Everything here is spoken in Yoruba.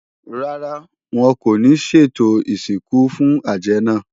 Rárá, wọn kò ní ṣètò ìsìnkú fún àjẹ́ náà